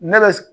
Ne bɛ